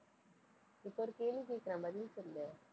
இப்ப ஒரு கேள்வி கேக்குறேன், பதில் சொல்லு